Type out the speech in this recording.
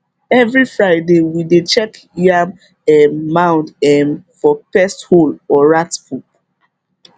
every friday we dey check yam um mound um for pest hole or rat poop